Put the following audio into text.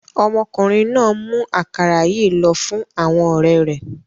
Ọmọkùnrin náà ń mú àkàrà yìí lọ fún àwọn ọ̀rẹ́ rẹ̀.